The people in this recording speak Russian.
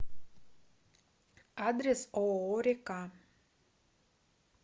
адрес ооо река